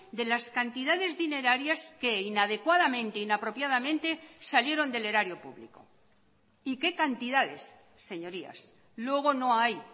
de las cantidades dinerarias que inadecuadamente inapropiadamente salieron del erario público y qué cantidades señorías luego no hay